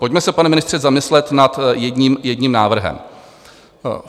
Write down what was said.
Pojďme se, pane ministře, zamyslet nad jedním návrhem.